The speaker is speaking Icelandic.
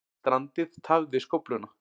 Strandið tafði skófluna